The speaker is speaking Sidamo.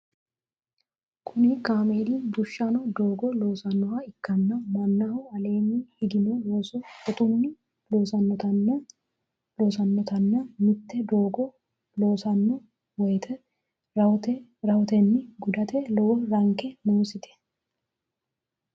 Kunni kaameeli bushino doogo loosanoha ikanna mannaho aleenni higino looso shotunni loosanotenna mite doogo loosano woyete rahotenni gudate lowo ranke noosete.